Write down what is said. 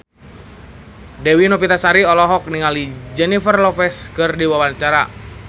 Dewi Novitasari olohok ningali Jennifer Lopez keur diwawancara